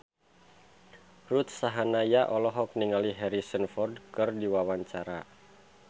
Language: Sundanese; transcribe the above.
Ruth Sahanaya olohok ningali Harrison Ford keur diwawancara